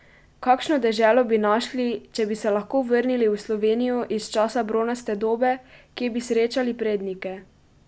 Kakšno deželo bi našli, če bi se lahko vrnili v Slovenijo iz časa bronaste dobe, kje bi srečali prednike?